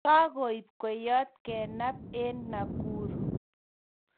Kakaib kweyot kenab en Nakuru